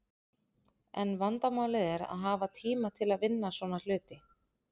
En vandamálið er að hafa tíma til að vinna svona hluti.